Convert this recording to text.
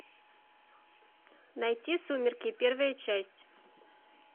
найти сумерки первая часть